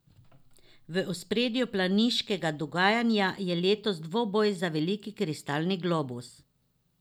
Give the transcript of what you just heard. V ospredju planiškega dogajanja je letos dvoboj za veliki kristalni globus.